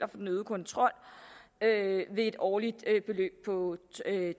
den øgede kontrol med et årligt beløb på